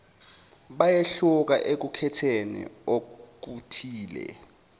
bayehluka ekukhetheni okuthile